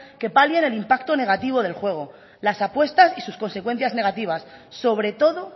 que palien el impacto negativo del juego las apuestas y sus consecuencias negativas sobre todo